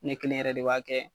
Ne kelen yɛrɛ de b'a kɛ.